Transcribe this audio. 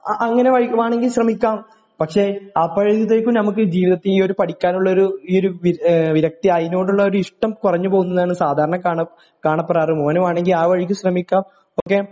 അങ്ങനെ വേണമെങ്കിൽ ശ്രമിക്കാം പക്ഷേ അപ്പോഴത്തേക്ക് നമുക്ക് ജീവിതത്തില് ഒരു പടിക്കാനുള്ള ഒരു വിരക്തി അതിനോടുള്ള ഇഷ്ടം കുറഞ്ഞു പോകുന്നതാണ് സാധാരണ കാണാ കാണപ്പെടാറ് മോന് വേണമെങ്കിൽ ആ വഴിക്ക് ശ്രമിക്കാം ഓ കെ